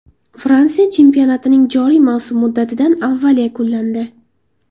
Fransiya chempionatining joriy mavsum muddatidan avval yakunlandi .